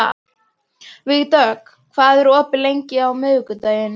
Vígdögg, hvað er opið lengi á miðvikudaginn?